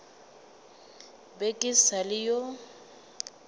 be ke sa le yo